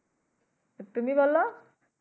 তুমি বলো?